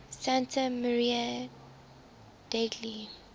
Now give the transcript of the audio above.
santa maria degli